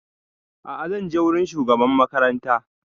A'a zan je wurin shugaban makaranta